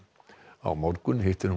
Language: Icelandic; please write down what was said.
á morgun hittir hún